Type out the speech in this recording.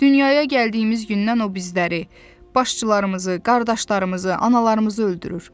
Dünyaya gəldiyimiz gündən o bizləri, başçılarımızı, qardaşlarımızı, analarımızı öldürür.